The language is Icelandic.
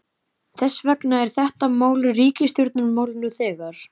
Þess vegna er þetta mál ríkisstjórnarmál nú þegar!